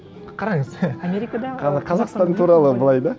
қараңыз америкада қазақстан туралы былай да